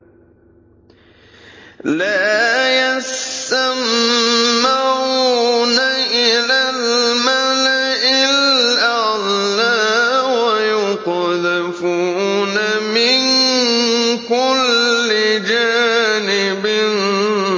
لَّا يَسَّمَّعُونَ إِلَى الْمَلَإِ الْأَعْلَىٰ وَيُقْذَفُونَ مِن كُلِّ جَانِبٍ